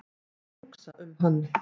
Hugsa um hann.